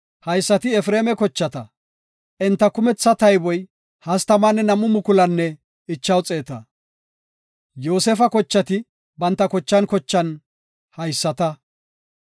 Haysati Efreema kochata; enta kumetha tayboy 32,500. Yoosefa kochati banta kochan kochan haysata.